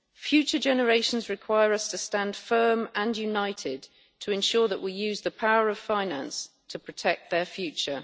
Future generations require us to stand firm and united to ensure that we use the power of finance to protect their future.